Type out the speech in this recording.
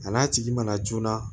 A n'a tigi mana joona